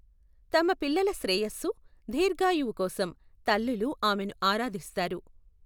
తమ పిల్లల శ్రేయస్సు, దీర్ఘాయువు కోసం తల్లులు ఆమెను ఆరాధిస్తారు.